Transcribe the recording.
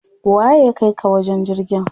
Waye ya kaika ka wajen jirgin?